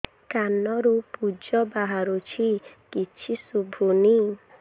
କାନରୁ ପୂଜ ବାହାରୁଛି କିଛି ଶୁଭୁନି